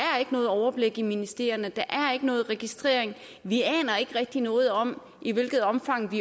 noget overblik i ministerierne der er ikke nogen registrering vi aner ikke rigtig noget om i hvilket omfang